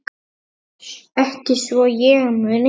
Ekki svo ég muni.